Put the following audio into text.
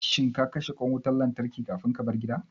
Shin ka kashe ƙwan wutan lantarkin kafin kabar gida?